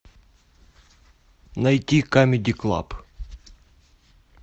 найти камеди клаб